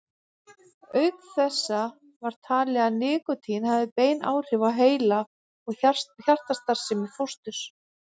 Auk þessa er talið að nikótín hafi bein áhrif á heila- og hjartastarfsemi fósturs.